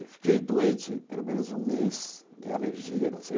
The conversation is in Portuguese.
E fiquei doente pelo menos um mês de alergia.